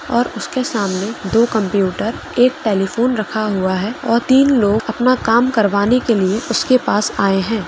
और उसके सामने दो कंप्यूटर एक टेलीफोन रखा हुआ है और तीन लोग अपना काम करवाने के लिए उसके पास आये है।